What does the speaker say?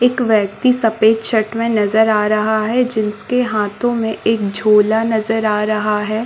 एक व्यक्ति सफ़ेद कलर का शर्ट मे नज़र आ रहा है जिसके हाथो मे एक झोला नज़र आ रहा है।